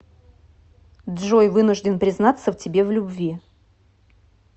джой вынужден признаться тебе в любви